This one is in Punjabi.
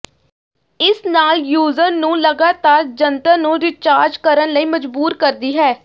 ਇਸ ਨਾਲ ਯੂਜ਼ਰ ਨੂੰ ਲਗਾਤਾਰ ਜੰਤਰ ਨੂੰ ਰੀਚਾਰਜ ਕਰਨ ਲਈ ਮਜ਼ਬੂਰ ਕਰਦੀ ਹੈ